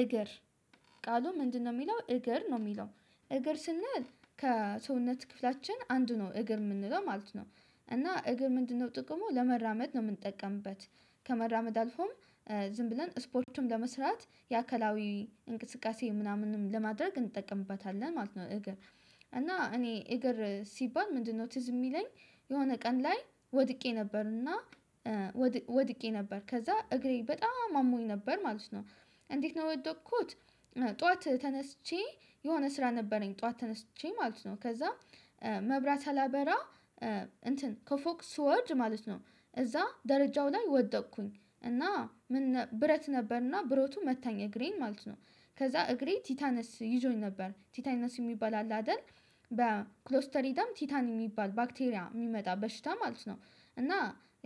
እግር ቃሉ ምንድነው? የሚለው እግር ነው የሚለው እግር ስንል ከሰውነት ክፍላችን አንዱ ነው እግር የምንለው ማለት ነው። እና እግር ምንድነው ጥቅሙ ለመራመድ ነው የምንጠቀምበት ከመራመድ አልፎም ዝም ብለን ስፖርቱን ለመስራት የአካላዊ እንቅስቃሴ ምናምንም ለማድረግ እንጠቀምበታለን ማለት ነው። እግር እና እኔ እግር ሲባል ምንድነው ትዝ የሚለኝ የሆነ ቀን ላይ ወድቄ ነበርና ወድቄ ነበር ከዛ እግሬ በጣም አሞኝ ነበር ማለት ነው። እንዴት ነው የወደቅኩት? ጠዋት ተነስቼ የሆነ ስራ ነበረኝ ጠዋት ተነስቼ ማለት ነው ከዛ መብራት ሳላበራ እንትን ከፎቅ ስወርድ ማለት ነው። እዛ ደረጃው ላይ ወደቅኩኝ እና ምን ብረት ነበርና ብረቱ መታኝ እግሬን ማለት ነው። ከዛ እግሬ ቲታነስ ይዞኝ ነበር ቲታነስ የሚባል አለ አይደል? በክሎስተሪደም ቲታን የሚባል ባክቴሪያ የሚመጣ በሽታ ማለት ነው። እና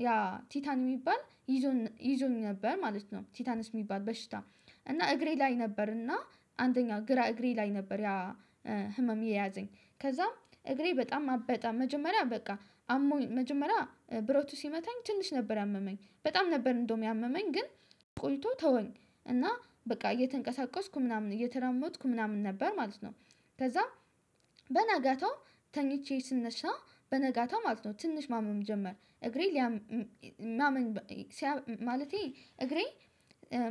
ያ ቲታን የሚባል ይዞኝ ይዞኝ ነበር ማለት ነው ቲታንስ የሚባል በሽታ እና እግሬ ላይ ነበር እና አንደኛው ግራ እግሬ ላይ ነበር። ያ ህመም የያዘኝ ከዛም እግሬ በጣም አበጠ መጀመሪያ በቃ አሞኝ መጀመሪያ ብረቱ ሲመታኝ ትንሽ ነበር ያመመኝ በጣም ነበር እንደውም ያመመኝ ግን ቆይቶ ተወኝ እና በቃ እየተንቀሳቀስኩ ምናምን እየተራመድኩ ምናምን ነበር ማለት ነው። ከዛ በናጋታው ተኝቼ ስነሳ በነጋታው ማለት ነው ትንሽ ማመም ጀመር እግሬ ሊያም ማመም ማለቴ እግሬ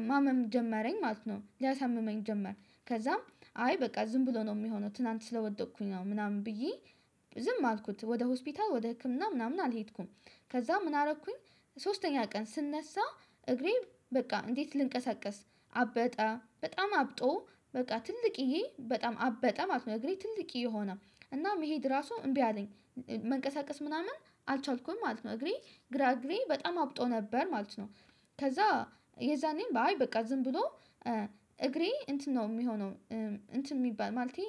ማመም ጀመረኝ ማለት ነው ሊያሳምመኝ ጀመር። ከዛም አይ በቃ ዝም ብሎ ነው የሚሆነው ትላንት ስለወደቅኩኝ ነው ምናምን ብዬ ዝም አልኩት ወደ ሆስፒታል ወደ ህክምና ምናምን አልሄድኩም። ከዛ ምን አረኩኝ ሶስተኛ ቀን ስነሳ እግሬ በቃ እንዴት ልንቀሳቀስ አበጠ በጣም አብጦ በቃ ትልቅየ በጣም አበጠ ማለት ነው እግሬ ትልቅየ ሆነ እና መሄድ ራሱ እምቢ አለኝ። መንቀሳቀስ ምናምን አልቻልኩም ማለት ነው እግሬ ግራ እግሬ በጣም አብጦ ነበር ማለት ነው። ከዛ የዛኔም በቃ አይ ዝም ብሎ እግሬ እንትን ነው የሚሆነው እንትን የሚባል ማለቴ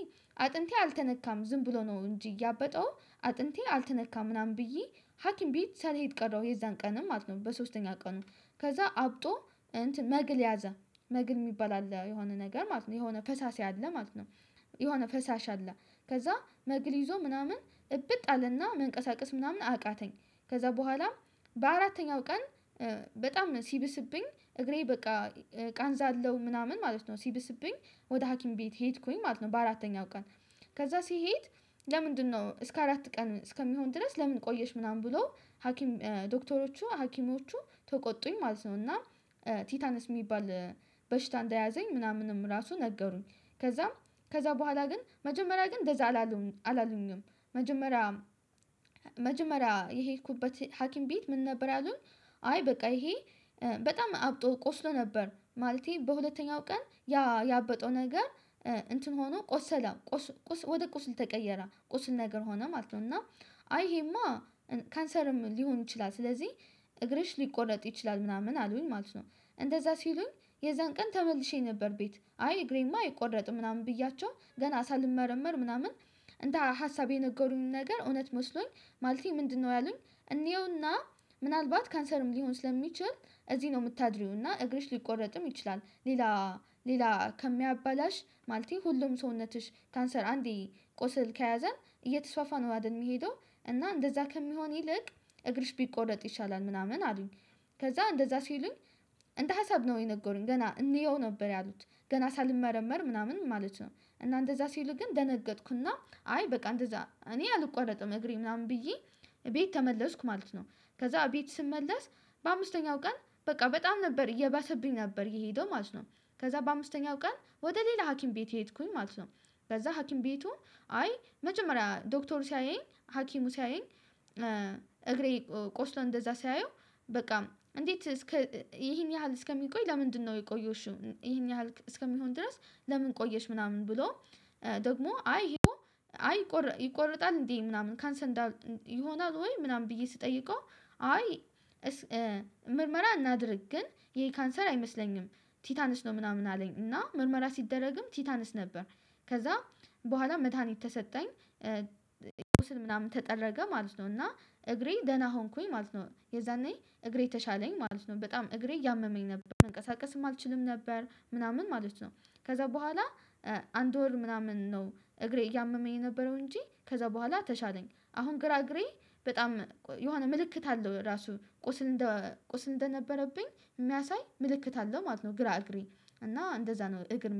አጥንቴ አልተነካም ዝም ብሎ ነው እንጂ ያበጠው አጥንቴ አልተነካም ምናምን ብዬ ሀኪም ቤት ሳልሄድ ቀረው የዛን ቀንም ማለት ነው በሶስተኛ ቀኑ ከዛ አብጦ እንትን መግል ያዘ መግል የሚባል አለ የሆነ ነገር ማለት ነው የሆነ ፈሳሽ አለ ማለት ነው። የሆነ ፈሳሽ አለ ከዛ መግሊዞ ምናምን እብጥ አለና መንቀሳቀስ ምናምን አቃተኝ። ከዛ በኋላ በአራተኛው ቀን በጣም ሲብስብኝ እግሬ በቃ ቃንዛ አለው ምናምን ማለት ነው። ሲብስብኝ ወደ ሀኪም ቤት ሄድኩኝ ማለት ነው በአራተኛው ቀን። ከዛ ሲሄድ ለምንድነው እስከ አራት ቀን እስከሚሆን ድረስ ለምን ቆየሽ ምናምን ብሎ ሀኪም ዶክተሮቹ ሀኪሞቹ ተቆጡኝ ማለት ነው። እና ቲታንስ የሚባል በሽታ እንደያዘኝ ምናምንም ራሱ ነገሩኝ ከዛም ከዛ በኋላ ግን መጀመሪያ ግን እንደዛ አላሉኝም። መጀመሪያ መጀመሪያ የሄድኩበት ሀኪም ቤት ምን ነበር ያሉን? አይ በቃ ይሄ በጣም አብጦ ቆስሎ ነበር ማለቴ በሁለተኛው ቀን ያ ያበጠው ነገር እንትን ሆኖ ቆሰለ ወደ ቁስል ተቀየረ ቁስል ነገር ሆነ ማለት ነው። እና አይ ይሄማ ካንሰርም ሊሆን ይችላል ስለዚህ እግርሽ ሊቆረጥ ይችላል ምናምን አሉኝ ማለት ነው። እንደዛ ሲሉኝ የዛን ቀን ተመልሼ ነበር ቤት አይ እግሬማ አይቆረጥም ምናምን ብያቸው ገና ሳልመረመር ምናምን። እንደ ሀሳብ የነገሩኝ ነገር እውነት መስሎኝ ማለቴ ምንድነው ያሉኝ እንየውና? ምናልባት ካንሰርም ሊሆን ስለሚችል እዚህ ነው የምታድሪውና እግርሽ ሊቆረጥም ይችላል ሌላ ሌላ ከሚያበላሽ ማለቴ ነው ሁሉም ሰውነትሽ ካንሰር አንዴ ቆስል ከያዘ እየተስፋፋ ነው አይደል የሚሄደው? እና እንደዛ ከሚሆን ይልቅ እግርሽ ቢቆረጥ ይሻላል ምናምን አሉኝ። ከዛ እንደዛ ሲሉኝ እንደ ሀሳብ ነው የነገሩኝ ገና እንየው ነበር ያሉት ገና ሳልመረመር ምናምን ማለት ነው። እና እንደዛ ሲሉ ግን ደነገጥኩና አይ በቃ እንደዛ እኔ አልቋረጥም እግሬ ምናምን ብዬ ቤት ተመለስኩ ማለት ነው። ከዛ ቤት ስመለስ በአምስተኛው ቀን በቃ በጣም ነበር እየባሰብኝ ነበር የሄደው ማለት ነው። ከዛ በአምስተኛው ቀን ወደ ሌላ ሀኪም ቤት ሄድኩኝ ማለት ነው። ከዛ ሀኪም ቤቱ አይ መጀመሪያ ዶክተሩ ሲያየኝ ሀኪሙ ሲያየኝ እግሬ ቆስሎ እንደዛ ሲያየው በቃ እንዴት እስከ ይሄን ያህል እስከሚቆይ ለምንድነው የቆየሽው ይሄን ያህል እስከሚሆን ድረስ ለምን ቆየሽ ምናምን ብሎ። ደግሞ አይ ይሄኮ አይ ይቆርጣል እንዴ ምናምን ካንሰን ይሆናል ወይ ምናምን ብዬ ስጠይቀው? አይ ምርመራ እናድርግ ግን ይሄ ካንሰር አይመስለኝም። ቲታንስ ነው ምናምን አለኝ እና ምርመራ ሲደረግም ቲታንስ ነበር። ከዛ በኋላ መድሃኒት ተሰጠኝ። ቁስል ምናምን ተጠረገ ማለት ነው እና እግሬ ደህና ሆንኩኝ ማለት ነው። የዛኔ እግሬ ተሻለኝ ማለት ነው በጣም እግሬ እያመመኝ ነበር መንቀሳቀስም አልችልም ነበር ምናምን ማለት ነው። ከዛ በኋላ አንድ ወር ምናምን ነው እግሬ እያመመኝ የነበረው እንጂ ከዛ በኋላ ተሻለኝ አሁን ግራ እግሬ በጣም የሆነ ምልክት አለው ራሱ ቁስል እንደ ቁስል እንደነበረብኝ የሚያሳይ ምልክት አለው ማለት ነው። ግራ እግሬ እና እንደዛ ነው። እግር